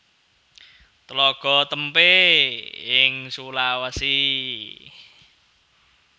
Tlaga Témpé ing Sulawesi